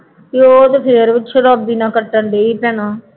ਅਤੇ ਉਹ ਤਾਂ ਫੇਰ ਸ਼ਰਾਬੀ ਨਾਲ ਕੱਟਣ ਡੇਈ ਭੈਣਾਂ